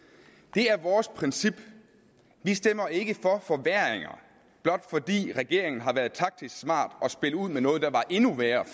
det er vores princip vi stemmer ikke for forværringer blot fordi regeringen har været taktisk smart og spillet ud med noget der var endnu værre